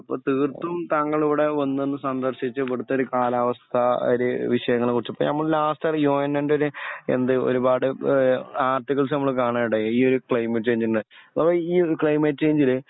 അപ്പൊ തീർത്തും താങ്കൾ ഇവിടെ വന്നൊന്ന് സന്ദർശിച് ഇവിടത്തൊരു കാലാവസ്ഥ ഒരു വിഷയങ്ങളെകുറിച് ഇപ്പൊ നമ്മള് ലാസ്റ്റ് ഒരു യോഹന്നാന്റോര് എന്ത് ഒരുപാട് ഏ ആര്ടികള്സ് നമ്മൾ കാണനിടയായി ഇ ഒരു ക്ലൈമറ്റ് ചേഞ്ച് ന്റെഅപ്പൊ ഈ ഒരു ക്ലൈമറ്റ് ചേഞ്ച് ല്